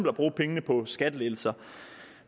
at bruge pengene på skattelettelser